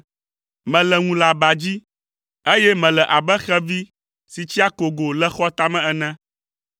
Mele ŋu le aba dzi, eye mele abe xevi si tsi akogo le xɔ tame ene.